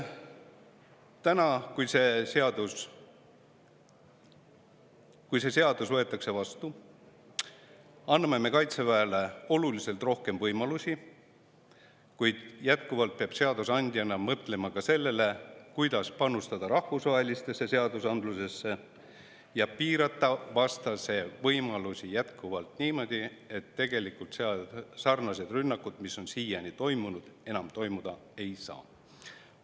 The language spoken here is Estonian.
Täna, kui me selle seaduse vastu võtame, anname me Kaitseväele oluliselt rohkem võimalusi, kuid jätkuvalt peab seadusandja mõtlema ka sellele, kuidas panustada rahvusvahelisse seadusandlusesse ja piirata vastase võimalusi niimoodi, et sellised rünnakud, nagu on siiani toimunud, enam toimuda ei saaks.